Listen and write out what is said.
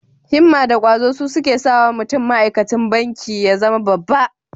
Himma da ƙwazo su suke sawa mutum ma'aikacin banki ya zama babba.